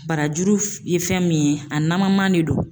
Barajuru ye fɛn min ye, a naman man de don.